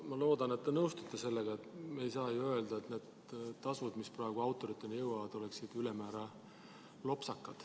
Ma loodan, et te nõustute: me ei saa ju öelda, et need tasud, mis praegu autoriteni jõuavad, oleksid ülemäära lopsakad.